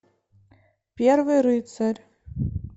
первый рыцарь